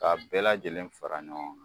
K'a bɛɛ lajɛlen fara ɲɔgɔn ŋa.